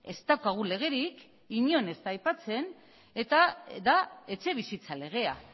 ez daukagu legerik inon ez da aipatze eta da etxebizitza legea